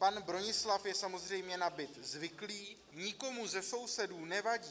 Pan Bronislav je samozřejmě na byt zvyklý, nikomu ze sousedů nevadí.